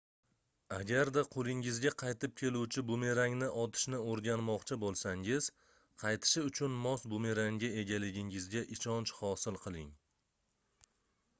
agarda qoʻlingizga qaytib keluvchi bumerangni otishni oʻrganmoqchi boʻlsangiz qaytishi uchun mos bumerangga egaligingizga ishonch hosil qiling